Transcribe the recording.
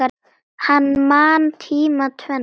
Hann man tímana tvenna.